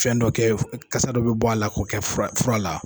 Fɛn dɔ kɛ kasa dɔ bɛ bɔ a la k'o kɛ fura la